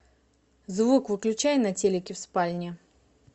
звук выключай на телике в спальне